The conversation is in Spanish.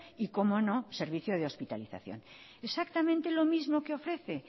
y cómo no servicio de hospitalización exactamente lo mismo que ofrece